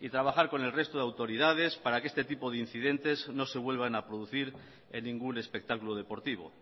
y trabajar con el resto de autoridades para que este tipo de incidentes no se vuelvan a producir en ningún espectáculo deportivo